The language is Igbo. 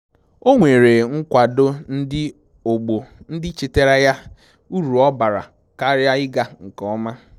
O nwere nkwado ndị ogbo ndị chetaara ya uru ọ bara karịa ịga nke ọma